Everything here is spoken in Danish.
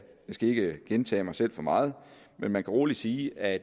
skal ikke gentage mig selv for meget men man kan roligt sige at